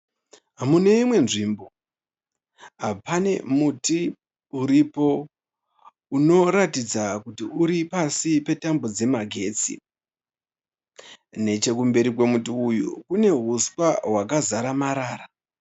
Mune imwe nzvimbo, pane muti uripo unoratidza kuti uri asi pasi petambo dzemagetsi. Nechekumberi kwemuti uyu kune huswa hwakazara marara.